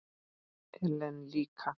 Ellen líka.